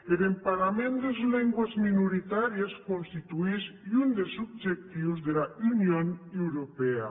er emparament des lengües minoritàries constituís un des objectius dera union europèa